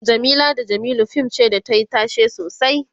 Jamila da jamilu fim ce da tayi tashe sosai